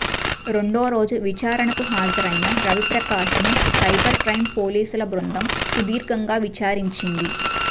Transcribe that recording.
రెండోరోజు విచారణకు హాజరైన రవిప్రకాశ్ను సైబర్ క్రైం పోలీసుల బృందం సుదీర్ఘంగా విచారించింది